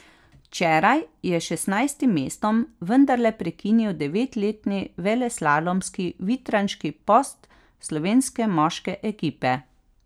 Včeraj je s šestnajstim mestom vendarle prekinil devetletni veleslalomski vitranški post slovenske moške ekipe.